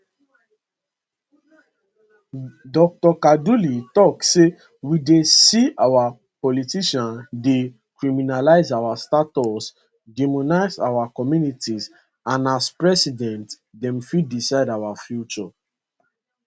dr kaduli tok say we dey see our politicians dey criminalise our status demonise our communities and as president dem fit decide our future